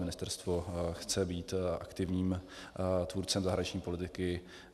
Ministerstvo chce být aktivním tvůrcem zahraniční politiky.